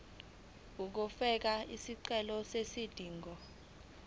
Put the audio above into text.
uzofaka isicelo sezidingo